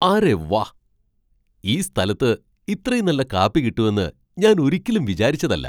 അരെ വാ ! ഈ സ്ഥലത്ത് ഇത്രയും നല്ല കാപ്പി കിട്ടുമെന്ന് ഞാൻ ഒരിക്കലും വിചാരിച്ചതല്ല .